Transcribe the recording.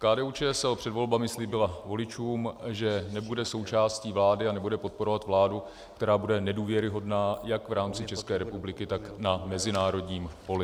KDU-ČSL před volbami slíbila voličům, že nebude součástí vlády a nebude podporovat vládu, která bude nedůvěryhodná jak v rámci České republiky, tak na mezinárodním poli.